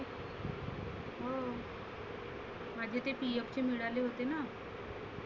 हम्म माझे ते PF चे मिळाले होते ना.